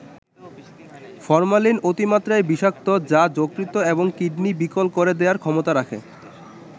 Formalin অতিমাত্রায় বিষাক্ত যা যকৃত এবং কিডনি বিকল করে দেয়ার ক্ষমতা রাখে।